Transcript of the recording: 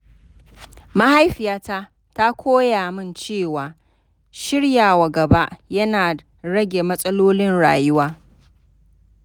Mahaifiyata ta koya min cewa shiryawa gaba yana rage matsalolin rayuwa.